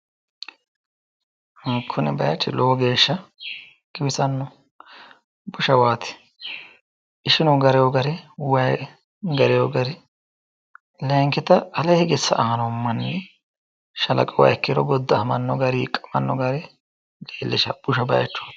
kuni bayiichi lowo geesha giwisano. bushawati, ishinu garino gari way garino gari layinkita ale hige sa'ano manni shalaqe uwiha ikkiro goda'amano gari hiqamano gari busha baayichoti